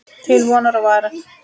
Til vonar og vara.